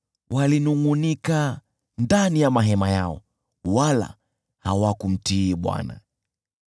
Walinungʼunika ndani ya mahema yao, wala hawakumtii Bwana .